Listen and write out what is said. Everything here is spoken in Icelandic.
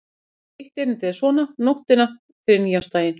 Eitt erindið er svona: Nóttina fyrir nýársdaginn